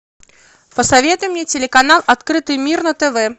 посоветуй мне телеканал открытый мир на тв